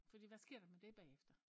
Fordi hvad sker der med det bagefter?